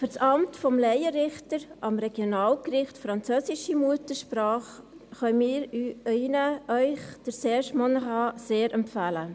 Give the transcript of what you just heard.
Für das Amt des Laienrichters am Regionalgericht können wir Ihnen Serge Monnerat sehr empfehlen.